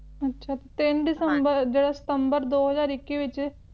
ਅੱਛਾ ਤਿੰਨ ਦਿਸੰਬਰ ਜਿਹੜਾ ਸਤੰਬਰ ਦੋ ਹਜ਼ਾਰ ਇੱਕੀ ਦੇ ਵਿਚ